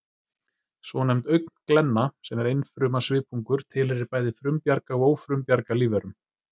Svonefnd augnglenna, sem er einfruma svipungur, tilheyrir bæði frumbjarga og ófrumbjarga lífverum